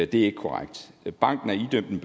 det er ikke korrekt banken er idømt en